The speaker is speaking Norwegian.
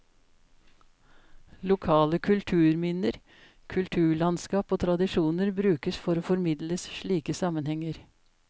Lokale kulturminner, kulturlandskap og tradisjoner brukes for å formidle slike sammenhenger.